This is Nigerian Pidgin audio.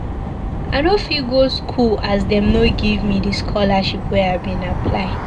I no fit go school as dem no give me di scholarship wey I bin apply.